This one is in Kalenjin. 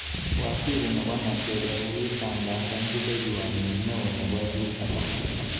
Waziri nebo Nigeria kitangasan rubewayat nenyi neo nebo UN.